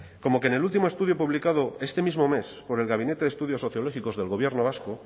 como que en el último estudio publicado este mismo mes por el gabinete de estudios sociológicos del gobierno vasco